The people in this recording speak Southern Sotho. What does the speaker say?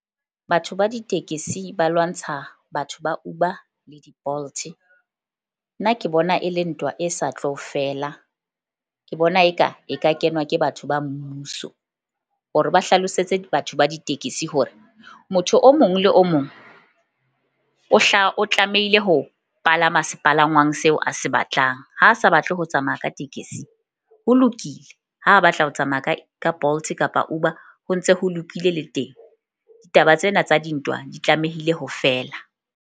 Batho ba ditekesi ba lwantsha batho ba Uber le di-Bolt-e. Nna ke bona e le ntwa e sa tlo fela. Ke bona eka e ka kenwa ke batho ba mmuso hore ba hlalosetse batho ba ditekesi, hore motho o mong le o mong o hlaha, o tlamehile ho palama sepalangwang seo a se batlang. Ha a sa batle ho tsamaya ka tekesi, ho lokile ha batla ho tsamaya ka Bolt kapa Uber ho ntse ho lokile le teng. Ditaba tsena tsa dintwa di tlamehile ho feela.